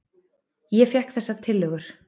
Ég fékk þessar tillögur.